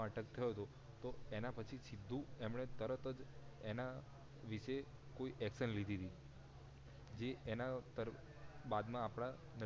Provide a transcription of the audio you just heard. attack થયો તો એના પછી સીધું એમને તરત જ એના વિષે કોઈ action લીધી તી જે એના બાદ માં આપડા